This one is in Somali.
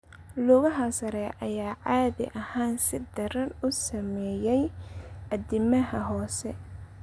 Lugaha sare ayaa caadi ahaan si daran u saameeyay addimada hoose.